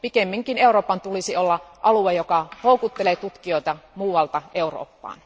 Pikemminkin Euroopan tulisi olla alue, joka houkuttelee tutkijoita muualta Eurooppaan.